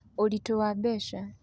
Ũritũ wa Mbeca: